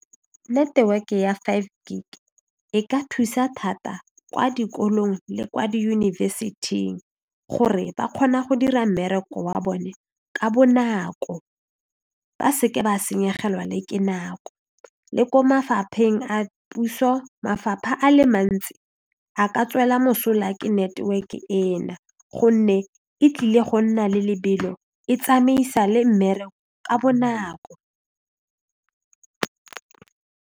Network ya five gig e ka thusa thata kwa dikolong le kwa diyunibesithing gore ba kgona go dira mmereko wa bone ka bonako ba se ke ba senyegelwa le ke nako le ko mafapheng a puso mafapha a le mantsi a ka tswela mosola ke network-e ena gonne e tlile go nna le lebelo e tsamaisa le mmereko ka bonako.